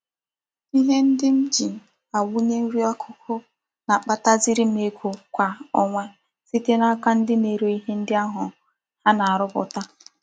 Ihe ndi m ji awunye nri akuku na-akpataziri m ego Kwa onwa site n'aka ndi a na-ere ihe ndi ha na-aruputa.